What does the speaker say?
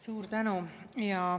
Suur tänu!